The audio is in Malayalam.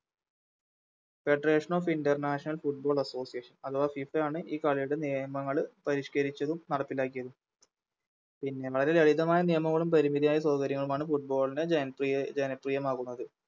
Federation of international football association അഥവാ FIFA ആണ് ഈ കളിയുടെ നിയമങ്ങള് പരിഷ്‌ക്കരിച്ചതും നടപ്പിലാക്കിയതും പിന്നെ വളരെ ലളിതമായ നിയമങ്ങളും പരിമിതിയായ സൗകര്യങ്ങളും ആണ് Football നെ ജനപ്രിയ ജനപ്രിയമാകുന്നത്